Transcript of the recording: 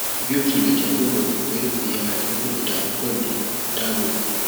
bí ó tilẹ jẹ pé mo rò pé ìyá rẹ ní ìdààmú pẹlú àìdáàbòbò